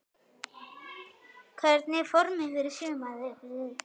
Hvernig er formið fyrir sumarið?